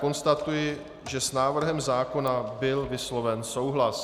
Konstatuji, že s návrhem zákona byl vysloven souhlas.